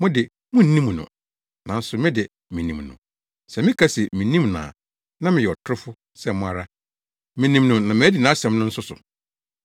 Mo de, munnim no, nanso me de, minim no. Sɛ meka sɛ minnim no a na meyɛ ɔtorofo sɛ mo ara. Minim no na madi nʼasɛm nso so.